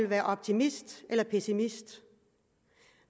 være optimist eller pessimist